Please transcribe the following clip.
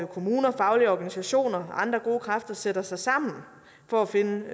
kommuner faglige organisationer og andre gode kræfter sætter sig sammen for at finde